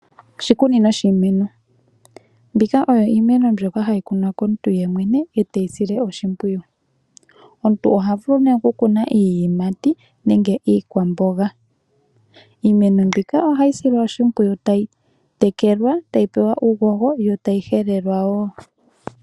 Oshikunino shiimeno. Mbika oyo iimeno mbyoka hayi kunwa komuntu yemwene ete yi sile oshimpwiyu. Omuntu oha vulu nee okukuna iiyimati nenge iikwamboga. Iimeno mbika ohayi silwa oshimpwiyu tayi tekelwa, tayi pewa uuhoho yo tayi helelwa wo.